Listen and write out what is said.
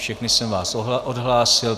Všechny jsem vás odhlásil.